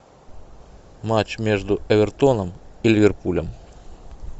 матч между эвертоном и ливерпулем